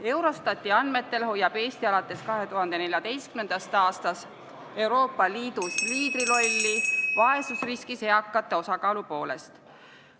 Eurostati andmetel hoiab Eesti alates 2014. aastast Euroopa Liidus liidrirolli vaesusriskis elavate eakate osakaalu poolest.